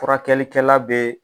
Furakɛlikɛla be